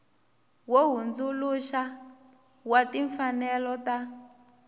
wo hundzuluxa wa timfanelo ta